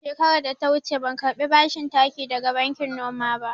Shekarar da ta wuce ban karɓi bashin taki daga bankin noma ba.